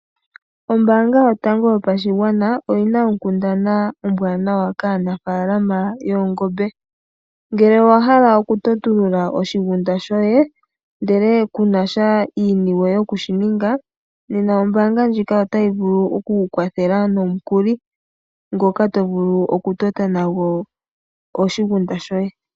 Ombaanga yotango yopashigwana oyina onkundana ombwaanawa kaanafaalama yoongombe. Ngele owahala oku totulula oshigunda shoye ndele kunasha iiniwe yokushi ninga, nena ombaanga ndjika ota yi vulu oku ku kwathela nomukuli ngoka tovulu okutota nago oshigunda shoye.